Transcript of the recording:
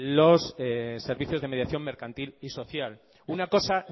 los servicios de mediación mercantil y social una cosa